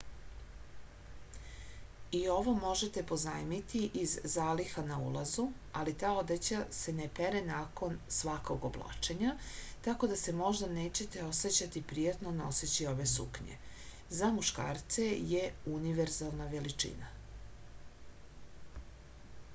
i ovo možete pozajmiti iz zaliha na ulazu ali ta odeća se ne pere nakon svakog oblačenja tako da se možda nećete osećati prijatno noseći ove suknje za muškarce je univerzalna veličina